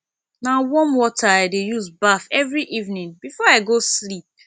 na warm water i dey use baff every evening before i go sleep